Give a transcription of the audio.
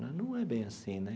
Né não é bem assim né.